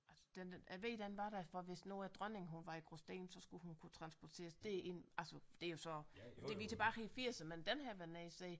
Altså den jeg ved den var der for hvis nu at dronningen hun var i Gråsten så skulle hun kunne transporteres derind altså det er jo så det vi er tilbage i firserne men den har jeg været nede at se